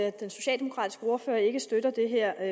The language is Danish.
at den socialdemokratiske ordfører ikke støtter det her